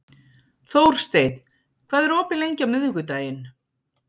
Þórsteinn, hvað er opið lengi á miðvikudaginn?